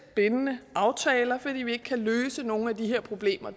bindende aftaler for vi kan ikke løse nogen af de her problemer